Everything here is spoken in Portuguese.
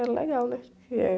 Era legal, né? Que é